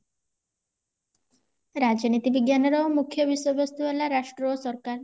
ରାଜନୀତି ବିଜ୍ଞାନ ର ମୁଖ୍ୟ ବିଷୟ ବସ୍ତୁ ହେଲା ରାଷ୍ଟ୍ର ଓ ସରକାର